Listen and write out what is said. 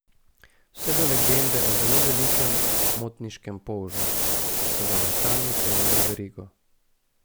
Vse do legende o zelo velikem motniškem polžu, ki so ga vaščani vklenili v verigo.